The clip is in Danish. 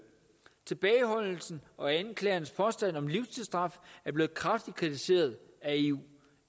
tilbageholdelsen og anklagerens påstand om livstridsstraf er blevet kraftigt kritiseret af eu